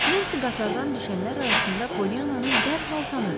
Nensi qatardan düşənlər arasında Pollyannanı dərhal tanıdı.